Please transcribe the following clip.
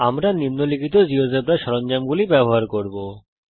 আমরা নিম্নলিখিত জীয়োজেব্রা সরঞ্জামগুলি ব্যবহার করব